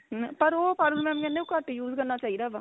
ਮੈਂ ਪਰ ਉਹ ਪਰਲ mam ਕਹਿੰਦੇ ਉਹ ਘੱਟ use ਕਰਨਾ ਚਾਹੀਦਾ ਵਾ